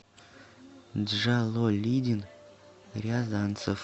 джалолидин рязанцев